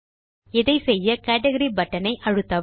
இதை செய்ய கேட்கரி பட்டன் ஐ அழுத்தவும்